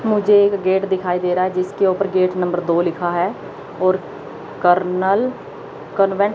मुझे एक गेट दिखाई दे रहा है जिसके ऊपर गेट नंबर दो लिखा है और कर्नल कॉन्वेंट --